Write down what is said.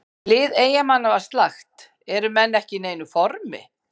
Lið Eyjamanna var slakt, eru menn ekki í neinu formi?